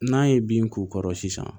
N'a ye bin k'u kɔrɔ sisan